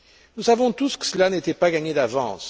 Nous savons tous que cela n'était pas gagné d'avance.